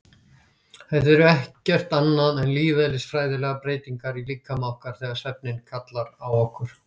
Þetta eru ekkert annað en lífeðlisfræðilegar breytingar í líkama okkar þegar svefninn kallar á okkur.